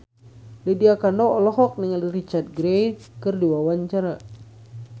Lydia Kandou olohok ningali Richard Gere keur diwawancara